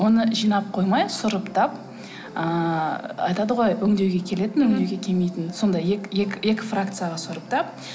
оны жинап қоймай сұрыптап ыыы айтады ғой өңдеуге келетін өңдеуге келмейтін сондай екі фракцияға сұрыптап